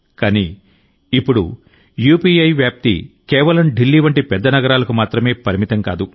కానీ ఇప్పుడు యూపీఐ వ్యాప్తి కేవలం ఢిల్లీ వంటి పెద్ద నగరాలకు మాత్రమే పరిమితం కాదు